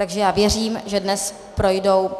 Takže já věřím, že dnes projdou